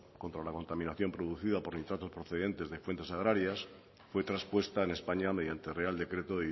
contra la contaminación producida por nitratos procedentes de fuentes agrarias fue traspuesta en españa mediante real decreto